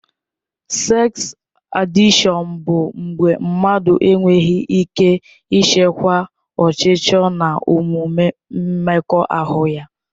Seks adịkshọn bụ mgbe mmadụ enweghị ike ịchịkwa ọchịchọ na omume mmekọahụ ya.